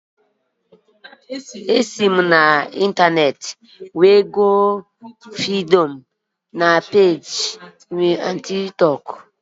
Esi m n'intaneeti bulie vidio m na peeji Tik tọk m